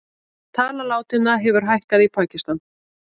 Tala látinna hefur hækkað í Pakistan